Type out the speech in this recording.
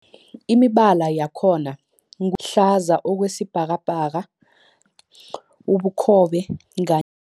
Imibala yakhona ngu hlaza okwesibhakabhaka, ubukhobe ka